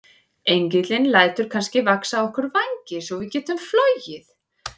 Engillinn lætur kannski vaxa á okkur vængi svo við getum flogið?